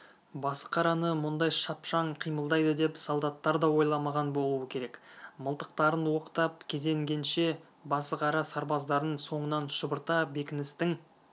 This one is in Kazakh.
басықараны мұндай шапшаң қимылдайды деп солдаттар да ойламаған болуы керек мылтықтарын оқтап кезенгенше басықара сарбаздарын соңынан шұбырта бекіністің